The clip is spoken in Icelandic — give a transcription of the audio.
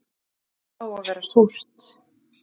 Það á að vera súrt